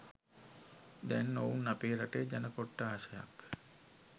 දැන් ඔවුන් අපේ රටේ ජන කොට්ටාශයක්